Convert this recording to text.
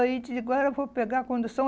Aí disse, agora eu vou pegar a condução.